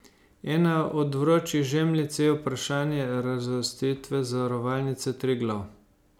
Ena od vročih žemljic je vprašanje razvrstitve Zavarovalnice Triglav.